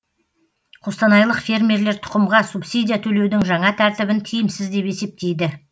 қостанайлық фермерлер тұқымға субсидия төлеудің жаңа тәртібін тиімсіз деп есептейді